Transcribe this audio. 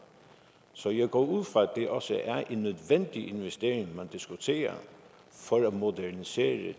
så jeg går ud fra at det også er en nødvendig investering man diskuterer for at modernisere